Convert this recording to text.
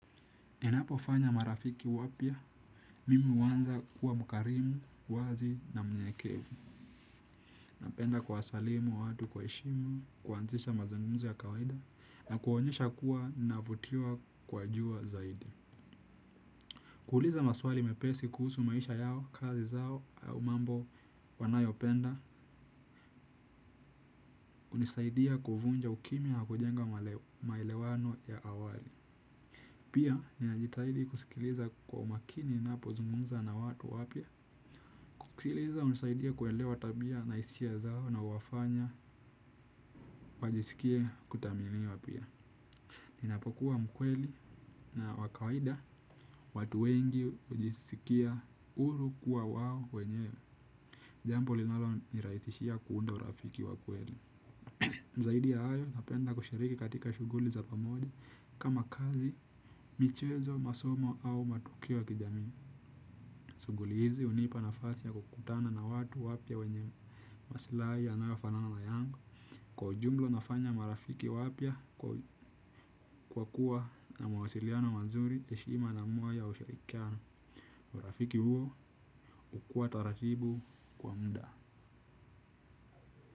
Ninapo fanya marafiki wapya, mimi huanza kuwa mkarimu, wazi na mnyekevu. Napenda kuwasalimu watu kwa heshima, kuanzisha mazungumzo ya kawaida, na kuonyesha kuwa navutiwa kwa jua zaidi. Kuuliza maswali mepesi kuhusu maisha yao, kazi zao, au mambo wanayopenda, bunisaidia kuvunja ukimya ya ku jenga maelewano ya awali. Pia ninajitahidi kusikiliza kwa makini nina pozungumza na watu wapya. Kusikiliza hunisaidia kuelewa tabia na hisia zao na huwafanya wajisikie kutaminiwa pia. Ninapokuwa mkweli na wa kawida watu wengi hujisikia huru kuwa wawo wenye. Jambo linalonirahisishia kuunda urafiki wa kweli zaidi ya hayo napenda kushiriki katika shughuli za pamoja kama kazi, michezo, masomo au matukio ya kijamii shughuli hizi hunipa nafasi ya kukutana na watu wapya wenye masilahi yanaofanana na yangu. Kwa ujumla nafanya marafiki wapya kwa kuwa na mawasiliano wazuri heshima na moyo ya usharikiano. Marafiki huo hukua taratibu kwa muda.